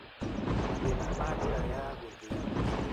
Mathĩna ma njĩra ya gũthĩa irio